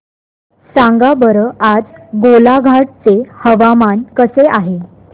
सांगा बरं आज गोलाघाट चे हवामान कसे आहे